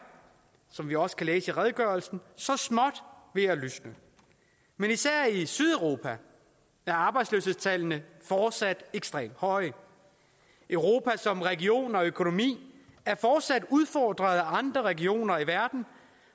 som vi også kan læse i redegørelsen så småt ved at lysne men især i sydeuropa er arbejdsløshedstallene fortsat ekstremt høje europa som region og økonomi er fortsat udfordret af andre regioner i verden